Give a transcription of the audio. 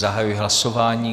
Zahajuji hlasování.